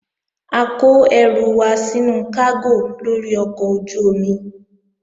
A kó ẹrù wa sínú kágò lórí ọkọ̀ ojú-omi